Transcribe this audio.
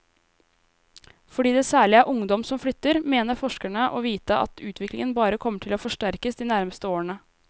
Fordi det særlig er ungdom som flytter, mener forskerne å vite at utviklingen bare kommer til å forsterkes de nærmeste årene.